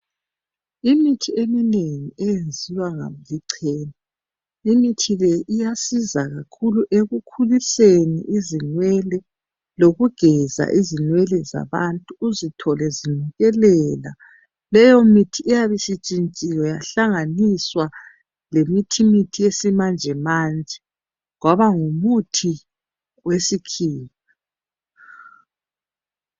Imithi eminengi eyenziwa lichena. Imithi le iyasiza kakhulu, ekukhuliseni izinwele. Lokugeza izinwele zabantu, uzithole zinukelela. Leyomithi iyabe isitshintshiwe. Yahlanganiswa lomuthi wesimanjemanje. Kwaba ngumuthi wesikhiwa.